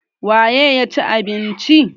.waye ya cin abinci?